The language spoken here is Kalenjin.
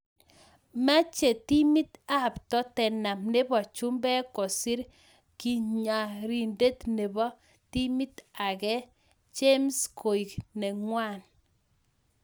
Meche timit AP totenam nebo chumbek kosir katyiarindet nebo timit ake James koek nengwang